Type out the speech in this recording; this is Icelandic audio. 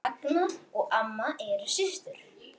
Ragna og mamma eru systur.